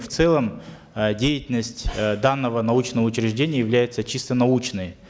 в целом э деятельность э данного научного учреждения является чисто научной